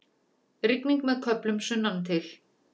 Rigning með köflum sunnantil